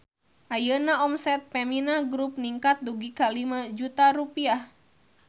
Ayeuna omset Femina Grup ningkat dugi ka 5 juta rupiah